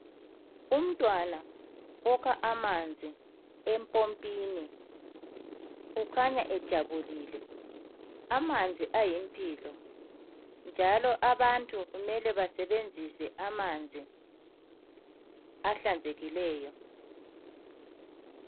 Umntwana okha amanzi empompini ukhanya ejabulile. Amanzi ayimpilo njalo abantu kumele basebenzisa amanzi ahlanzekileyo.